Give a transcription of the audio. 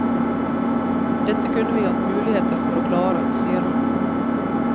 Dette kunne vi hatt muligheter for å klare, sier han.